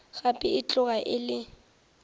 gape e tloga e le